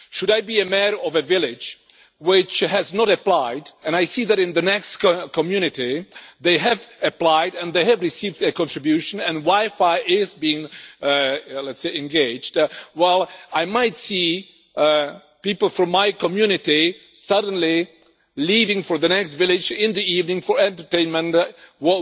If I were a mayor of a village which has not applied, and I see that in the next community they have applied and they have received their contribution and WiFi is being engaged, I might see people from my community suddenly leaving for the next village in the evening for entertainment or something